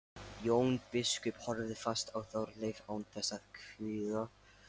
Jón biskup horfði fast á Þorleif án þess að hvika.